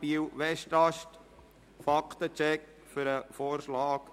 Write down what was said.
Biel/Westast: Fakten-Check für den Vorschlag